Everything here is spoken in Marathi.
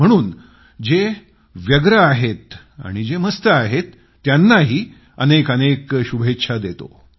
म्हणून जे व्यस्त आहेत आणि जे मस्त आहेत त्यांनाही अनेक अनेक शुभेच्छा देतो